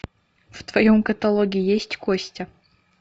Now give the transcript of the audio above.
в твоем каталоге есть костя